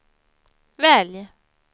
välj